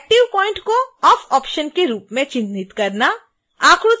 active point को off option के रूप में चिन्हित करना